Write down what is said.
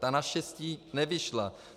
Ta naštěstí nevyšla.